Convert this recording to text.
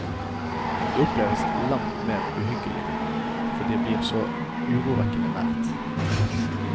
Det oppleves langt mer uhyggelig, fordi det blir så urovekkende nært.